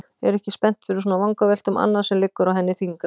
Er ekki spennt fyrir svona vangaveltum, annað sem liggur á henni þyngra.